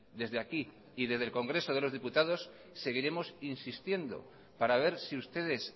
desde aquí y desde el congreso de los diputados seguiremos insistiendo para ver si ustedes